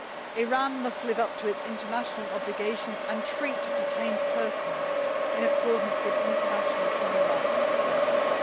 Iran must live up to its international obligations and treat detained persons in accordance with international human rights standards.